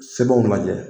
Sɛbɛnw lajɛ